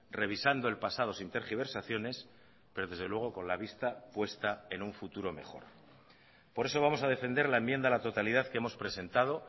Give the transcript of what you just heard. revisando el pasado sin tergiversaciones pero desde luego con la vista puesta en un futuro mejor por eso vamos a defender la enmienda a la totalidad que hemos presentado